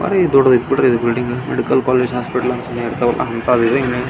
ಅ ದೊಡ್ಡ ಬಿಲ್ಡಿಂಗ್ ಐತೆ.